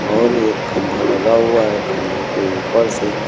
और एक खंभा लगा हुआ है खंभों के ऊपर से--